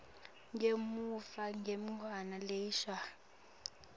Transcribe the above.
ngemuva kweminyaka lelishumi